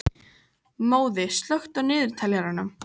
Móði, slökktu á niðurteljaranum.